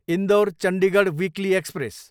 Indore, Chandigarh weekly express